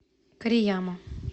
корияма